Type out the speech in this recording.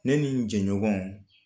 Ne ni n jɛɲɔgɔn